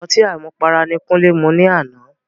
Ọtí àmupara ni Kúnlé mu ní àná.